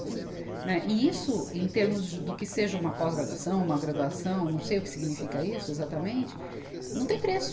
Né, e isso, em termos do que seja uma pós-graduação, uma graduação, não sei o que significa isso exatamente, não tem preço.